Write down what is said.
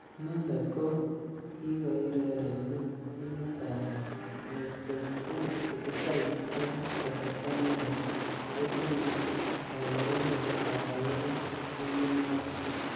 Inendet ko kikoirerenchi timit ab lakeside eng kasarta nekoi akotinye kalewenet akobo timit notok.